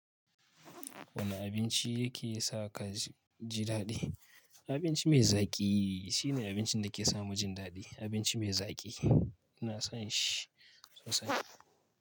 Wane abinci yake sa ka ji daɗi? Abinci mai zaƙi shine abincin da ke sa mu jin daɗi. Abinci mai zaki ina son shi sosai.